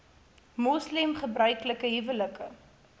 moslem gebruiklike huwelike